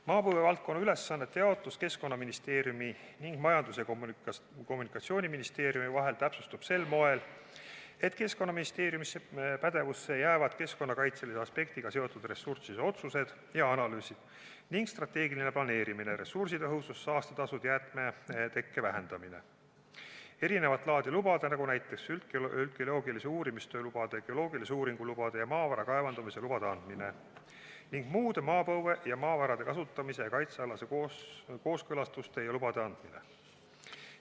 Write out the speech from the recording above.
Maapõue valdkonna ülesannete jaotus Keskkonnaministeeriumi ning Majandus- ja Kommunikatsiooniministeeriumi vahel täpsustub sel moel, et Keskkonnaministeeriumi pädevusse jäävad keskkonnakaitselise aspektiga seotud ressursside otsused ja analüüsid ning strateegiline planeerimine , erinevat laadi lubade – näiteks üldgeoloogilise uurimistöö lubade, geoloogilise uuringu lubade ja maavara kaevandamise lubade – andmine ning muude maapõue ja maavarade kasutamise ja kaitse alaste kooskõlastuste ja lubade andmine.